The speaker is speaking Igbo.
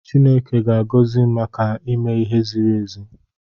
Chineke ga-agọzi m maka ime ihe ziri ezi.